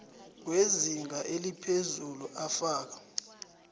wezinga eliphezulu afaka